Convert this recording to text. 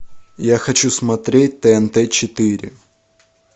я хочу смотреть тнт четыре